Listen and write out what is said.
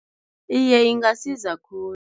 Iye, ingasiza khulu.